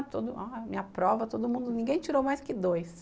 Ah, minha prova, todo mundo, ninguém tirou mais que dois.